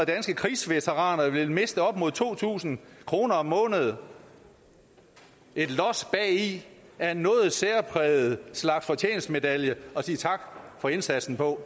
danske krigsveteraner vil miste op mod to tusind kroner om måneden et los bagi er en noget særpræget slags fortjenstmedalje at sige tak for indsatsen på